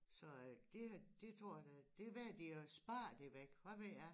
Så øh det har det tror jeg da det valgte de at spare det væk hvad ved jeg